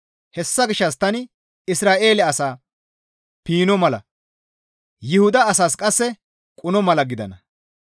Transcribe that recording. Hessa gishshas tani Isra7eele asaa piinno mala, Yuhuda asas qasse quno mala gidana.